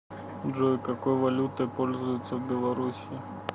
джой какой валютой пользуются в белоруссии